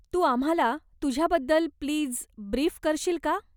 तू आम्हाला तुझ्याबद्दल please brief करशील का?